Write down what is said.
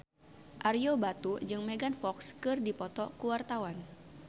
Ario Batu jeung Megan Fox keur dipoto ku wartawan